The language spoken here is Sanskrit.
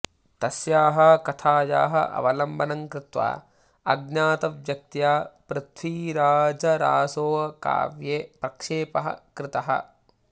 तस्याः कथायाः अवलम्बनं कृत्वा अज्ञातव्यक्त्या पृथ्वीराजरासोकाव्ये प्रक्षेपः कृतः